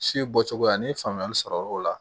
Si bɔcogoya ni faamuyali sɔrɔ o la